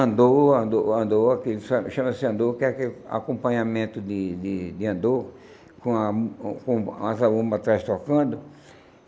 Andor, Andor, Andor, que cha chama-se Andor, que é aquele o acompanhamento de de de Andor, com a com a zabumba atrás tocando.